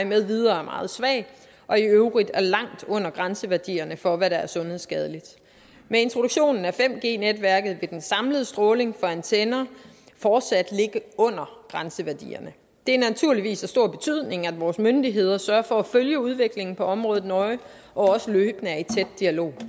med videre er meget svag og i øvrigt er langt under grænseværdierne for hvad der er sundhedsskadeligt med introduktionen af 5g netværket vil den samlede stråling fra antenner fortsat ligge under grænseværdierne det er naturligvis af stor betydning at vores myndigheder sørger for at følge udviklingen på området nøje og også løbende er i tæt dialog